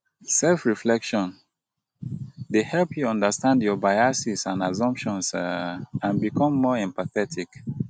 self-reflection dey help you understand your biases and assumptions um and become more empathetic.